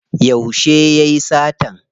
Yauce yayi satan?